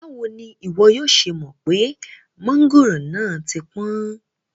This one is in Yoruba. Bawo ni iwọ yoo ṣe mọ pe mangoro naa ti pọn?